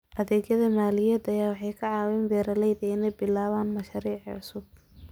Adeegyada maaliyadeed waxay ka caawiyaan beeralayda inay bilaabaan mashaariic cusub.